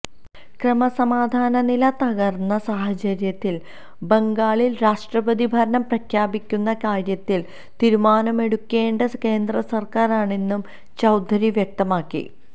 ക്രമസമാധാനനില തകർന്ന സാഹചര്യത്തിൽ ബംഗാളിൽ രാഷ്ട്രപതി ഭരണം പ്രഖ്യാപിക്കുന്ന കാര്യത്തിൽ തീരുമാനമെടുക്കേണ്ടത് കേന്ദ്രസർക്കാരാണെന്നും ചൌധരി വ്യക്തമാക്കി